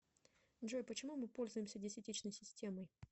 джой почему мы пользуемся десятичной системой